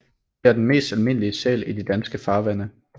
Det er den mest almindelige sæl i de danske farvande